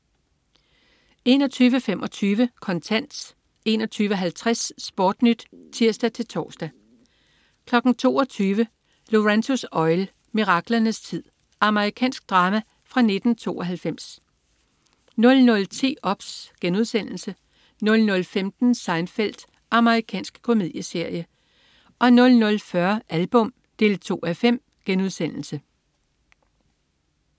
21.25 Kontant 21.50 SportNyt (tirs-tors) 22.00 Lorenzo's Oil. Miraklernes tid. Amerikansk drama fra 1992 00.10 OBS* 00.15 Seinfeld. Amerikansk komedieserie 00.40 Album 2:5*